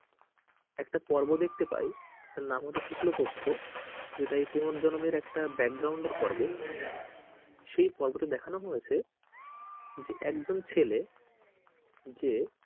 একটা পর্ব দেখতে পাই তার নাম হচ্ছে শুক্লপক্ষ যেটা এই পুনর্জন্মের একটা এর পর্ব সেই পর্বটি তে দেখানো হয়েছে যে একজন ছেলে যে,